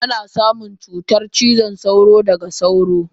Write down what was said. Ana samun cutar cizon sauro daga sauro.